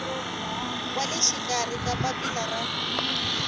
wa le xikarhi papila ra